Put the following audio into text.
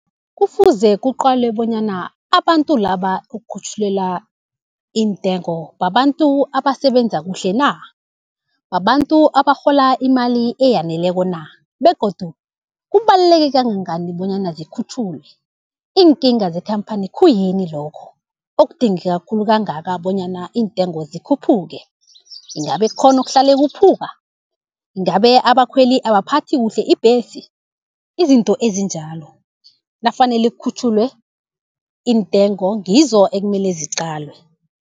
Kufuze kuqalwe bonyana, abantu laba ekukhutjhulelwa intengo babantu abasebenza kuhle na? Babantu abarhola imali eyaneleko na begodu kubaluleke kangangani bonyana zikhutjhulwe? Iinkinga zekhamphani khuyini lokho okudingeka khulu kangaka bonyana iintengo zikhuphuke, ingabe kukhona okuhlale kuphuka? Ingabe abakhweli abaphathi kuhle ibhesi? Izinto ezinjalo nafanele kukhutjhulwe iintengo ngizo ekumele ziqalwe.